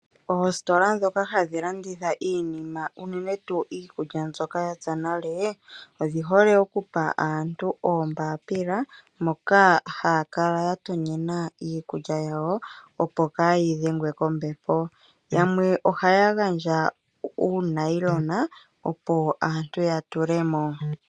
Oositola dhoka hadhi landitha iinima unene tuu iikulya mbyoka yapya nale, odhi hole okupa aantu oombapila moka ha kala ya tonyena iikulya ya wo opo kayi dhengwe kombepo. Yamwe ohaya gandja uunayilona opo aantu yatulemo.